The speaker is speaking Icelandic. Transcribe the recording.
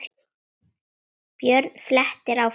Björn flettir áfram.